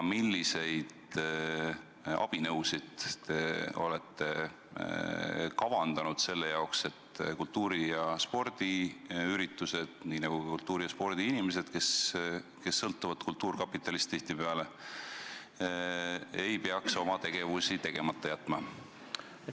Ja milliseid abinõusid te olete kavandanud selle jaoks, et kultuuri- ja spordiinimesed, kes sõltuvad tihtipeale kultuurkapitalist, ei peaks oma üritusi ja muid tegemisi tegemata jätma?